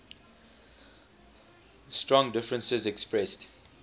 strong differences expressed